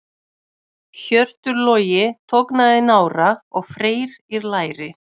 Hjörtur Logi tognaði í nára og Freyr í læri.